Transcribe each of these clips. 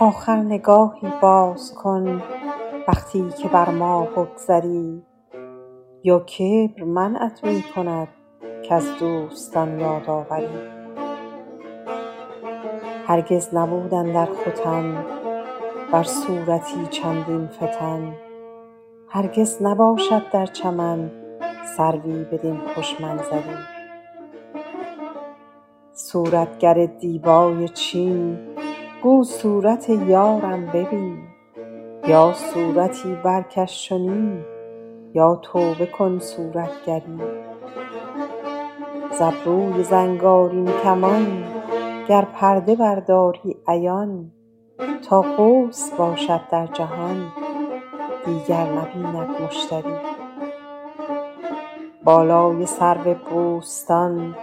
آخر نگاهی باز کن وقتی که بر ما بگذری یا کبر منعت می کند کز دوستان یاد آوری هرگز نبود اندر ختن بر صورتی چندین فتن هرگز نباشد در چمن سروی بدین خوش منظری صورتگر دیبای چین گو صورت رویش ببین یا صورتی برکش چنین یا توبه کن صورتگری ز ابروی زنگارین کمان گر پرده برداری عیان تا قوس باشد در جهان دیگر نبیند مشتری بالای سرو بوستان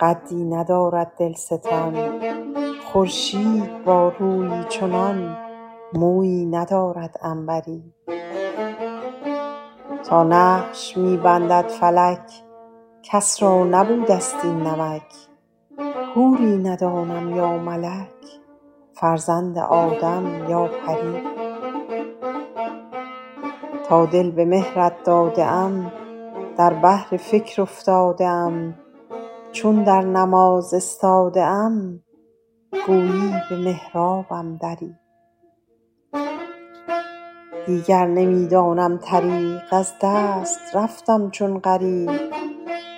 رویی ندارد دلستان خورشید با رویی چنان مویی ندارد عنبری تا نقش می بندد فلک کس را نبوده ست این نمک ماهی ندانم یا ملک فرزند آدم یا پری تا دل به مهرت داده ام در بحر فکر افتاده ام چون در نماز استاده ام گویی به محرابم دری دیگر نمی دانم طریق از دست رفتم چون غریق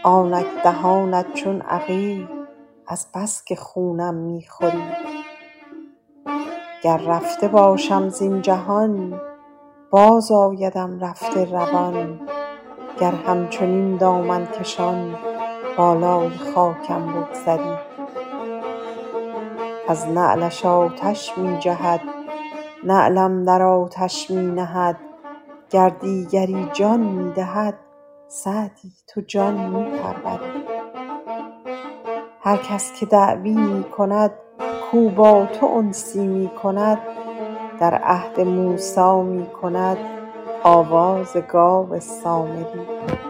آنک دهانت چون عقیق از بس که خونم می خوری گر رفته باشم زین جهان بازآیدم رفته روان گر همچنین دامن کشان بالای خاکم بگذری از نعلش آتش می جهد نعلم در آتش می نهد گر دیگری جان می دهد سعدی تو جان می پروری هر کس که دعوی می کند کاو با تو انسی می کند در عهد موسی می کند آواز گاو سامری